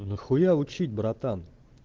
нахуя учить братан